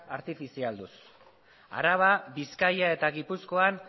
artifizialduz araba bizkaia eta gipuzkoan